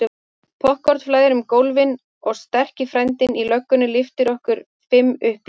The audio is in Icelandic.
Poppkorn flæðir um gólfin og sterki frændinn í löggunni lyftir okkur fimm upp í einu.